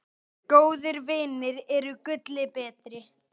Góðir vinir eru gulli betri.